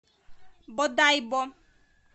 бодайбо